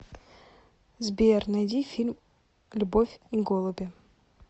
сбер найди фильм любовь и голуби